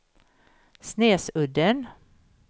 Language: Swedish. Snesudden